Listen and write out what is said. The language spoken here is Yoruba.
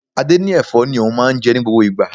Adé ní Ẹ̀fọ́ ni òun máa ń jẹ ní gbogbo ìgbà.